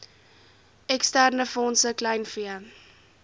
eksterne fondse kleinvee